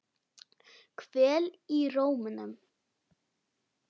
Kvöl í rómnum.